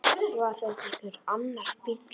Var þetta einhver annar bíll?